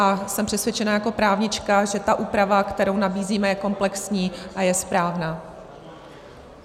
A jsem přesvědčena jako právnička, že ta úprava, kterou nabízíme, je komplexní a je správná.